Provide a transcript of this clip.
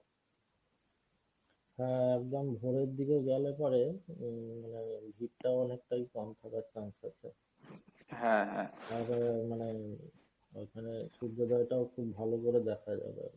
হ্যাঁ একদম ভোরের দিকে গেলে পরে ভীড়টা অনেকটাই কম থাকার chance আছে তাছাড়া মানে ওখানে সূর্যদয়টাও খুব ভালো করে দেখা যাবে আরকি।